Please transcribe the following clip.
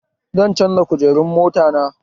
Zan canza kujerun mota na